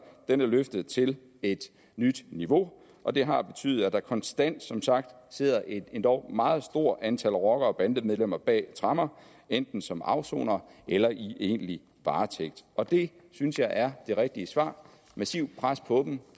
er løftet til et nyt niveau og det har betydet at der konstant som sagt sidder et endog meget stort antal rockere og bandemedlemmer bag tremmer enten som afsonere eller i egentlig varetægt og det synes jeg er det rigtige svar massivt pres på dem